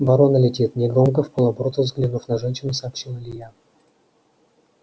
ворона летит негромко вполоборота взглянув на женщину сообщил илья